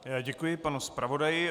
Děkuji panu zpravodaji.